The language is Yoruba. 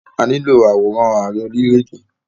A nílo àwòrán Ààrẹ orílè-èdè.